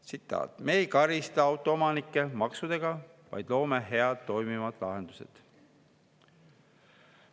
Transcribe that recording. Tsitaat: "Me ei karista autoomanikke maksudega, vaid loome head toimivad lahendused.